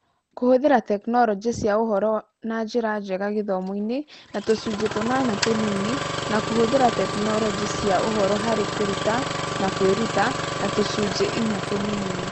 Kũhũthĩra tekinoronjĩ cia ũhoro na njĩra njega gĩthomo-inĩ na tũcunjĩ tũnana tũnini na kũhũthĩra tekinoronjĩ cia ũhoro harĩ kũruta na kwĩruta na tũcunjĩ inya tũnini.